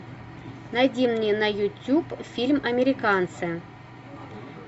найди мне на ютюб фильм американцы